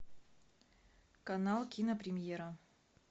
канал кинопремьера